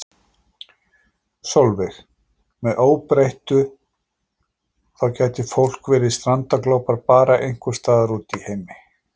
Sólveig: Með óbreyttu þá gæti fólk verið strandaglópar bara einhvern staðar úti í heimi?